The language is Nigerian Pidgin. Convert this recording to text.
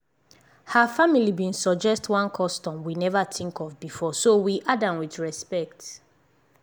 her family been suggest one custom we never think of beforeso we add am with respect.